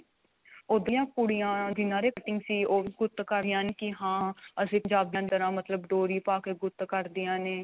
ਉੱਧਰਲੀਆਂ ਕੁੜੀਆਂ ਜਿਨ੍ਹਾਂ ਦੇ ਉਹ ਵੀ ਗੁੱਤ ਕ਼ਰ ਰਹੀਆਂ ਨੇ ਕੀ ਹਾਂ ਅਸੀਂ ਪੰਜਾਬੀਆ ਦੀ ਤਰ੍ਹਾਂ ਮਤਲਬ ਡੋਰੀ ਪਾ ਕੇ ਗੁੱਤ ਕਰਦੀਆਂ ਨੇ